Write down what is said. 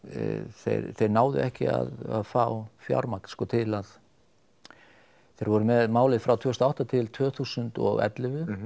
þeir þeir náðu ekki að fá fjármagn sko til að þeir voru með málið frá tvö þúsund og átta til tvö þúsund og ellefu